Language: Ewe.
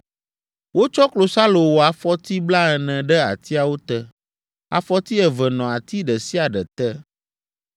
Wotsɔ klosalo wɔ afɔti blaene ɖe atiawo te: afɔti eve nɔ ati ɖe sia ɖe te.